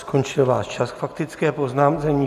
Skončil váš čas k faktické poznámce.